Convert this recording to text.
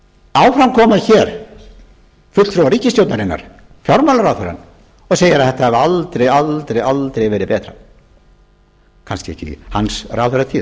áfram koma hér fulltrúar ríkisstjórnarinnar fjármálaráðherrann og segir að þetta hafi aldrei verið betra kannski ekki í hans ráðherratíð enda er